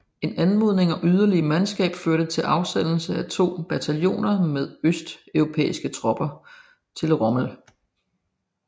En anmodning om yderligere mandskab førte til afsendelse af to bataljoner med østeuropæiske tropper til Rommel